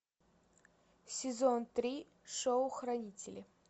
сезон три шоу хранители